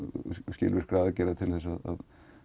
skilvirkra aðgerða til að